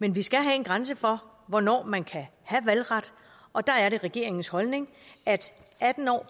men vi skal have en grænse for hvornår man kan have valgret og der er det regeringens holdning at atten år